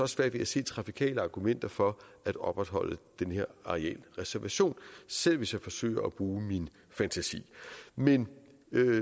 svært ved at se trafikale argumenter for at opretholde den her arealreservation selv hvis jeg forsøger at bruge min fantasi men